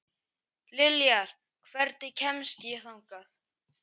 Liljar, hvernig kemst ég þangað?